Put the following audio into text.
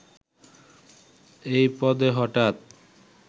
এই পদে হঠাৎ